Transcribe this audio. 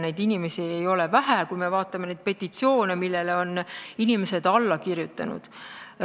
Neid inimesi ei ole vähe, nagu me näeme, kui me vaatame petitsioone, millele inimesed on alla kirjutanud.